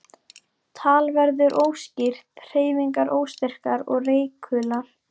Tal verður óskýrt, hreyfingar óstyrkar og reikular.